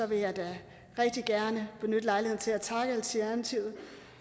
vil jeg da rigtig gerne benytte lejligheden til at takke alternativet